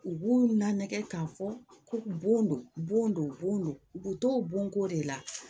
U b'u la nɛgɛ k'a fɔ ko bon don bon don u bɛ to bonko de la